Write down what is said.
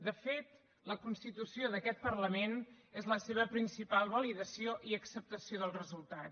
de fet la constitució d’aquest parlament és la seva principal validació i acceptació del resultat